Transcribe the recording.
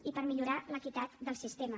i per millorar l’equitat del sistema